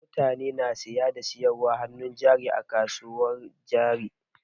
Mutane na saya da sayarwar hannun jari a kasuwar jari.